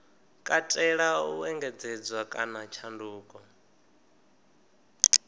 katela u engedzedzwa kana tshanduko